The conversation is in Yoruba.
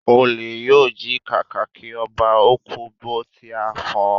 Olè yóò jí kàkàkí ọba, ó kú bó tí á fọ́n